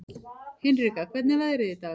Hinrika, hvernig er veðrið í dag?